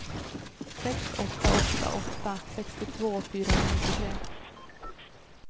sex åtta åtta åtta sextiotvå fyrahundranittiotre